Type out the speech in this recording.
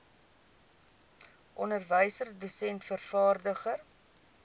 onderwyser dosent vervaardiger